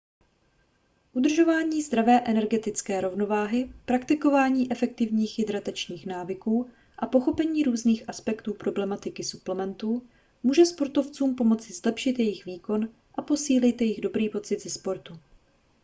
udržování zdravé energetické rovnováhy praktikování efektivních hydratačních návyků a pochopení různých aspektů problematiky suplementů může sportovcům pomoci zlepšit jejich výkon a posílit jejich dobrý pocit ze sportu